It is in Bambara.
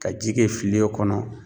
Ka ji kɛ filen kɔnɔ